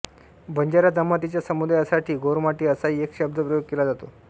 बंजारा जमातीच्या समुदायासाठी गोरमाटी असाही एक शब्दप्रयोग केला जातो